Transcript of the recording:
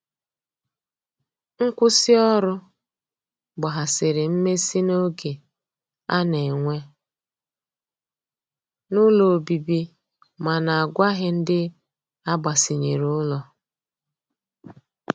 Nkwụsi ọrụ gbahasiri mmesi n'oge ana n'enwe n'ụlọ ọbibi mana agwaghi ndi agbasinyere ụlọ.